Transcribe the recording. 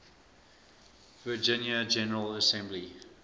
virginia general assembly